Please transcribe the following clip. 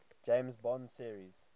james bond series